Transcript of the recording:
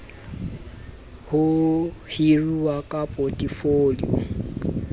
ho hiruwa ha ka potefoliong